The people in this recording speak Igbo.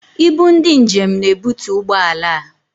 Ibu ndị njem na-ebutu ụgbọala a.